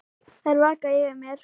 Þær vaka yfir mér.